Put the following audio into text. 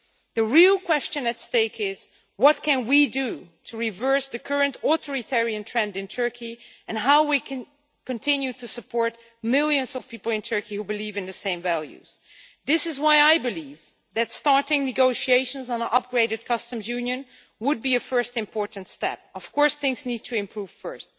The real question at stake is what we can do to reverse the current authoritarian trend in Turkey and how can we continue to support the millions of people in Turkey who believe in the same values? This is why I believe that starting negotiations on an upgraded customs union would be a first important step, although of course things need to improve first.